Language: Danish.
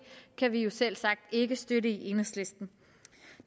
kan vi jo selvsagt ikke støtte i enhedslisten